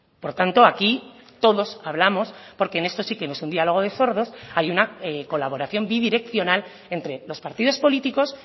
por tanto aquí todos hablamos porque en esto sí que no es un diálogo de sordos hay una colaboración bidireccional entre los partidos políticos